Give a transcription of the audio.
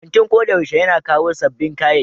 Kantin ko da yaushe yana kawo sabbin kayayyaki.